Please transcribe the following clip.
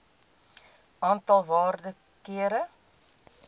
aantal waarde kere